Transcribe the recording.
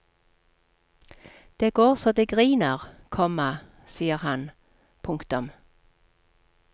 Det går så det griner, komma sier han. punktum